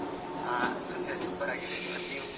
ಹಾ ತೊಂದ್ರೆಲ್ಲಾ super ಆಗಿ ಇದ್ದಿವಿ, ನೀವು?